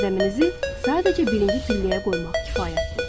Qədəminizi sadəcə birinci pilləyə qoymaq kifayətdir.